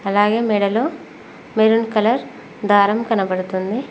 అలాగే మెడలో maroon colour దారం కనబడుతుంది.